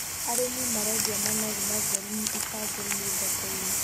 Arĩmi marendia managu matheru ibango-inĩ thoko-inĩ.